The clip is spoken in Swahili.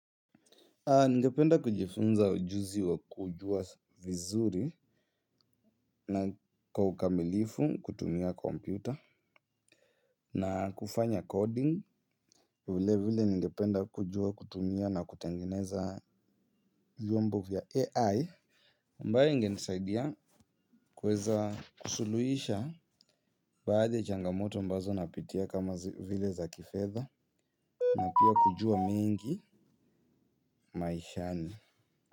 Ningependa kujifunza ujuzi wa kujua vizuri na kwa ukamilifu kutumia kompyuta na kufanya coding vile vile ningependa kujua kutumia na kutengeneza vyombo vya AI ambae inge nisaidia kuweza kusuluhisha baadhi changamoto qmbazo napitia kama vile za kifedha na pia kujua mengi maishani.